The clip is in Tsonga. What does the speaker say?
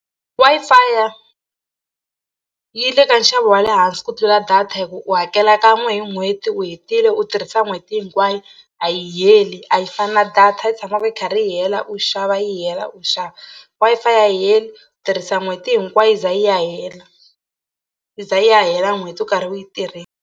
Wi-Fi yi le ka nxavo wa le hansi ku tlula data hi ku u hakela kan'we hi n'hweti u hetile u tirhisa n'hweti hinkwayo a yi heli a yi fani na data yi tshamaka yi karhi yi hela u xava yi hela u xava. Wi-Fi a yi heli tirhisa n'hweti hinkwayo yi za yi ya hela yi za yi ya hela n'hweti u karhi u yi .